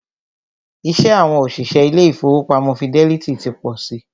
Iṣẹ́ àwọn òṣìṣẹ́ ilé ìfọwọ́pamo Fidelity ti pọ si.